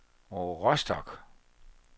Rostock